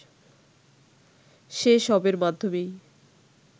সে সবের মাধ্যমেই